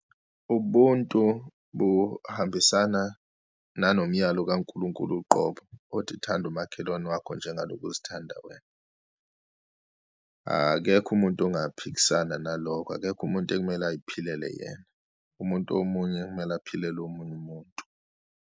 Ubuntu buhambisana nanomyalo kaNkulunkulu uqobo othi, thanda umakhelwane wakho njengaloku uzithanda wena. Akekho umuntu ngaphikisana nalokho, akekho umuntu ekumele ayiphilele yena, umuntu omunye kumele aphilele omunye umuntu.